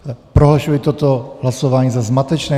Prohlašuji toto hlasování za zmatečné.